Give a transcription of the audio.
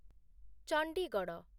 Chandigarh